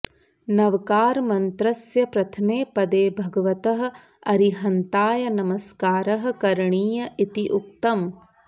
नवकारमन्त्रस्य प्रथमे पदे भगवतः अरिहन्ताय नमस्कारः करणीयः इति उक्तम्